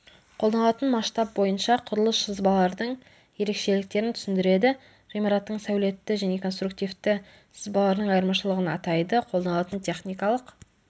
қолданатын масштаб бойынша құрылыс сызбалардың ерекшеліктерін түсіндіреді ғимараттың сәулетті және конструктивті сызбаларының айырмашылығын атайды қолданатын техникалық